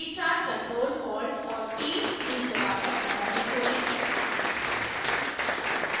एकसाथ ctrl alt और t keys दबाकर terminal खोलें